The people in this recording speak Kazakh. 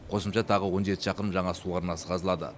қосымша тағы он жеті шақырым жаңа су арнасы қазылады